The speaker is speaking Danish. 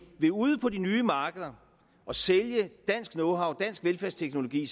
vil ud på de nye markeder og sælge dansk knowhow dansk velfærdsteknologi